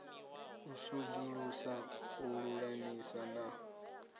u sudzulusa u lulamisa na